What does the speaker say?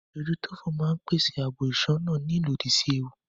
Ìdójútòfò ń pèsè ààbò ìṣúná ní ìlódì sí ewu